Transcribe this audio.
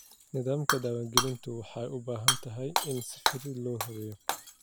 Nidaamka diiwaangelintu waxa uu u baahan yahay in si fudud loo habeeyo.